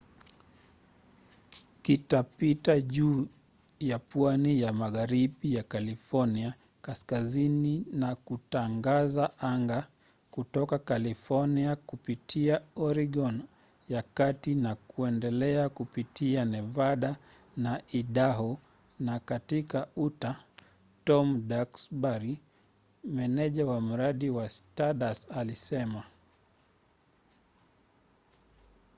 kitapita juu ya pwani ya magharibi ya california kaskazini na kitaangaza anga kutoka california kupitia oregon ya kati na kuendelea kupitia nevada na idaho na katika utah tom duxbury meneja wa mradi wa stardust alisema